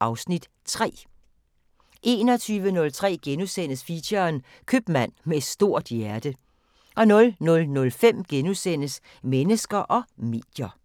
(Afs. 3)* 21:03: Feature: Købmand med et stort hjerte * 00:05: Mennesker og medier *